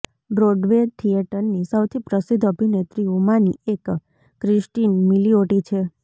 Broadway થિયેટરની સૌથી પ્રસિદ્ધ અભિનેત્રીઓમાંની એક ક્રિસ્ટીન મિલીઓટી છે